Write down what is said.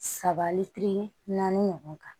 Sabali naani ɲɔgɔn kan